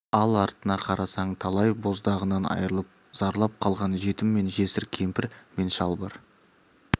ал артына қарасаң талай боздағынан айырылып зарлап қалған жетім мен жесір кемпір мен шал бар